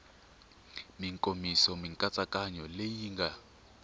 mikomiso mikatsakanyo leyi yi nga